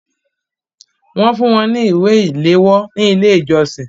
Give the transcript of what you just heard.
Wọ́n fún wọn ní ìwé ìléwọ́ ní ilé ìjọsìn